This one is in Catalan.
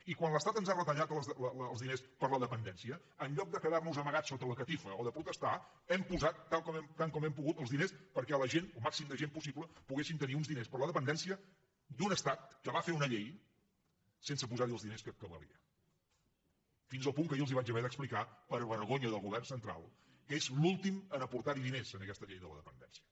i quan l’estat ens han retallat els diners per a la dependència en lloc de quedar nos amagats sota la catifa o de protestar hem posat tant com hem pogut els diners perquè la gent el màxim de gent possible poguessin tenir uns diners per a la dependència d’un estat que va fer una llei sense posar hi els diners que valia fins al punt que jo els vaig haver d’explicar per a vergonya del govern central que és l’últim a aportar hi diners a aquesta llei de la dependència